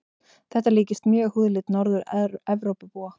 Þetta líkist mjög húðlit Norður-Evrópubúa.